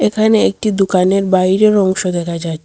এখানে একটি দুকানের বাইরের অংশ দেখা যায়।